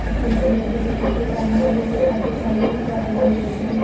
ଥକୁନଥିଲେ ଏବେତ ଟିକିଏ କାମ କଲେ ସେ ଖାଦ୍ୟ ଖାଇକିରି ପୁରା ହାଲିଆ ହେଇଯାଉଛତି।